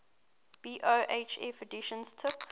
bofh editions took